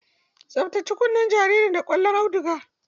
Tsaftace kunnen jariri da ƙwallon auduga.